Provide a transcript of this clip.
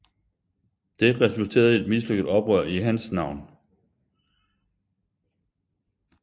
Det resulterede i et mislykket oprør i hans navn